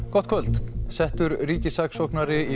gott kvöld settur ríkissaksóknari